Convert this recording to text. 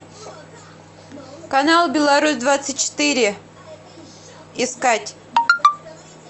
канал беларусь двадцать четыре искать